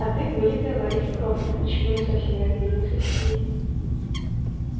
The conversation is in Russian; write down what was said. а ты вылитая лариса крофт почему-то совсем разобиделся сергей